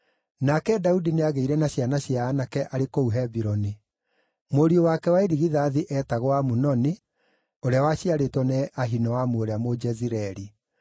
Nake Daudi nĩagĩire na ciana cia aanake arĩ kũu Hebironi: Mũriũ wake wa irigithathi eetagwo Amunoni ũrĩa waciarĩtwo nĩ Ahinoamu ũrĩa Mũjezireeli;